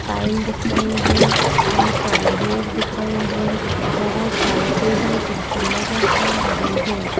Tile दिख रहे हैं बहुत सारे लोग दिख रहे हैं बहुत सारे टेबल कुर्सी नजर आ रहे हैं।